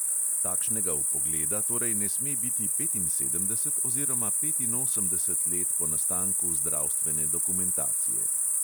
Takšnega vpogleda torej ne sme biti petinsedemdeset oziroma petinosemdeset let po nastanku zdravstvene dokumentacije.